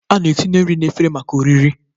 A na-etinye nri n'ime efere maka oriri.